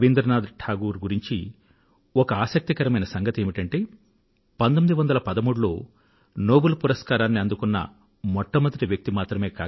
రబీంద్రనాథ్ టాగూర్ గురించి ఒక ఆసక్తికరమైన సంగతి ఏమిటంటే 1913లో నోబెల్ పురస్కారాన్ని అందుకున్న మెట్టమొదటి వ్యక్తి ఆయన